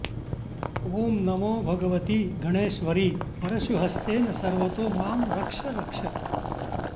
ॐ नमो भगवति गणेश्वरि परशुहस्तेन सर्वतो मां रक्ष रक्ष